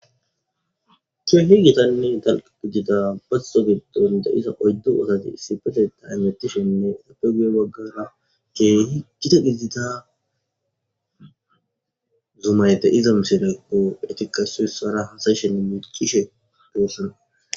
ki'ohi gitanne talqa gidida basso gidunde iza oyddu osazi isipeteta anettishenne apegen waggara geeyhi gita giddida zumayte iza misilaqo etikasusara hasayshenne michishe doossana